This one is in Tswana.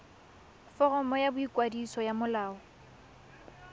foromo ya boikwadiso ya molao